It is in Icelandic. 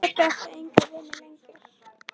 Pabbi átti enga vini lengur.